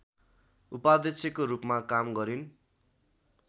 उपाध्यक्षको रूपमा काम गरिन्